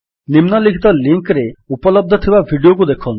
ନିମ୍ନଲିଖିତ ଲିଙ୍କ୍ ରେ ଉପଲବ୍ଧ ଥିବା ଭିଡିଓକୁ ଦେଖନ୍ତୁ